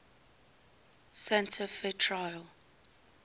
santa fe trail